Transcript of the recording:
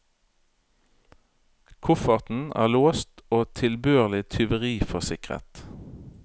Kofferten er låst og tilbørlig tyveriforsikret.